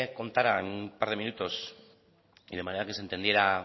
contara en un par de minutos y de manera que se entendiera